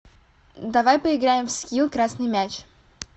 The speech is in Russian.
давай поиграем в скилл красный мяч